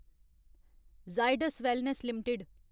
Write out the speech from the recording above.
Zydus wellness limited